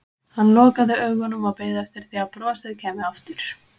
Hann lokaði augunum og beið eftir því að brosið kæmi aftur.